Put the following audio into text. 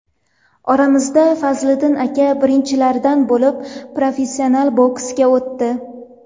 Oramizda Fazliddin aka birinchilardan bo‘lib professional boksga o‘tdi.